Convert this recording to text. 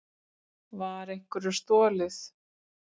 Var einhverju stolið?